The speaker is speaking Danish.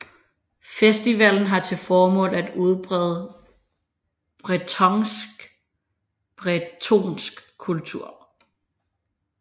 Festivalen har til formål at udbrede bretonsk kultur